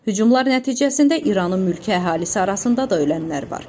Hücumlar nəticəsində İranın mülki əhalisi arasında da ölənlər var.